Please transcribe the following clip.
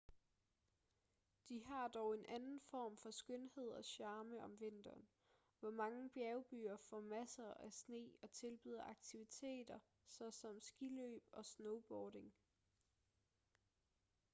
de har dog en anden form for skønhed og charme om vinteren hvor mange bjergbyer får masser af sne og tilbyder aktiviteter såsom skiløb og snowboarding